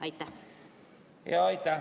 Aitäh!